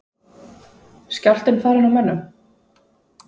Skjálftinn farinn úr mönnum?